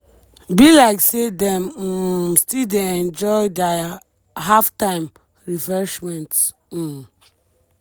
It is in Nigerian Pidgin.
be liek say dem um still dey enjoy dia half-time refreshments. um